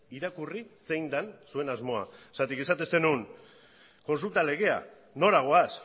irakurri zein den zuen asmoa zergatik esaten zenuen kontsulta legea nora goaz